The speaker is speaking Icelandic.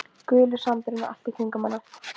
Gulur sandurinn allt í kringum hana.